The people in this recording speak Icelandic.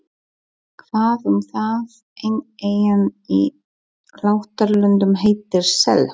Hvað um það, ein eyjan í Látralöndum heitir Sel.